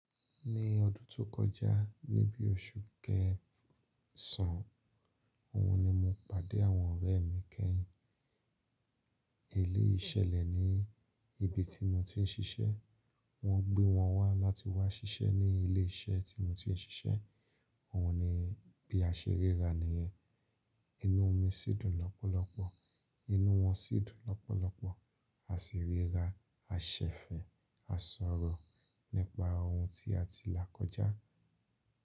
Ní ọdún tó kọjá níbi oṣù kẹsàn án, òhun ni mo pàdé àwọn ọ̀rẹ́ mi kẹ́yìn. Eléyìí ṣẹlẹ̀ ní ibi tí mo ti ń ṣiṣẹ́. Wọ́n gbé wọn wá láti wá ṣiṣẹ́ ní ilé iṣẹ́ tí mo ti ń ṣiṣẹ́. Òhun ni bí a ṣe ríra nìyẹn. Inú mi sì dùn lọ́pọ̀lọpọ̀, inú wọn sì dùn lọ́pọ̀lọpọ̀. A sì ríra, a ṣẹ̀fẹ̀, a sọ̀rọ̀ nípa ohun tí a ti là kọjá.